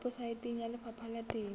weposaeteng ya lefapha la temo